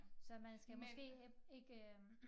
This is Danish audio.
Så man skal måske ikke øh